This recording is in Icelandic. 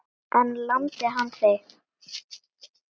En lamdi hann þig?